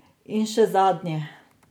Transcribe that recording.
In še zadnje.